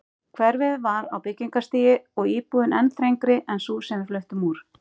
Hverfið var á byggingarstigi og íbúðin enn þrengri en sú sem við fluttum úr.